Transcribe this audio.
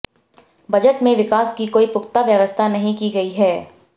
budget में विकास की कोई पुख्ता व्यवस्था नहीं की गई है